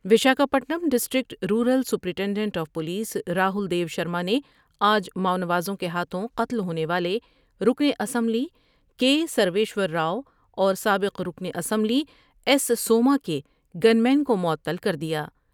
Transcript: Vishakha Patnam district rural superintendent of police Rahul دیوشر مانے آج ماونوازوں کے ہاتھوں قتل ہونے والے رکن اسمبلی کے سرویشورراؤ اور سابق رکن اسمبلی الیس سوما کے گن مین کو معطل کر دیا ۔